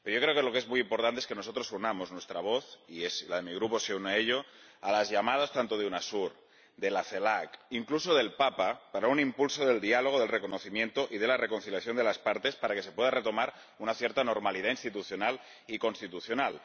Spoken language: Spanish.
Pero yo creo que lo que es muy importante es que nosotros unamos nuestras voces, y mi Grupo une la suya, a las llamadas tanto de la UNASUR como de la CELAC, incluso del Papa, para dar un impulso al diálogo, al reconocimiento y la reconciliación de las partes para que se pueda retomar una cierta normalidad institucional y constitucional.